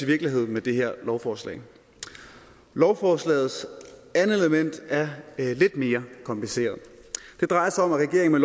virkelighed med det her lovforslag lovforslagets andet element er lidt mere kompliceret det drejer sig om at regeringen